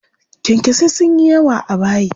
Kyankyasai sun yi yawa a bayi.